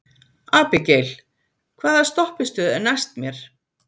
Abigael, hvaða stoppistöð er næst mér?